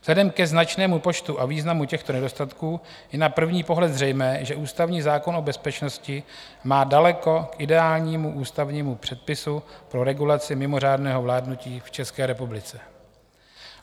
Vzhledem k značnému počtu a významu těchto nedostatků je na první pohled zřejmé, že ústavní zákon o bezpečnosti má daleko k ideálnímu ústavnímu předpisu pro regulaci mimořádného vládnutí v České republice.